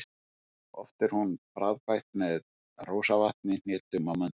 Oft er hún bragðbætt með rósavatni, hnetum og möndlum.